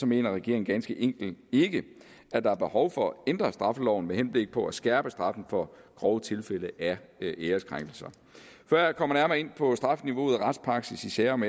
mener regeringen ganske enkelt ikke at der er behov for at ændre straffeloven med henblik på at skærpe straffen for grove tilfælde af æreskrænkelse før jeg kommer nærmere ind på strafniveauet og retspraksis i sager om